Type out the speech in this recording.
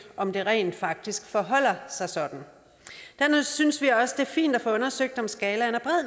om det rent faktisk forholder sig sådan dernæst synes vi også det er fint at få undersøgt om skalaen er